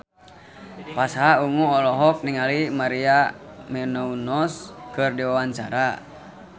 Pasha Ungu olohok ningali Maria Menounos keur diwawancara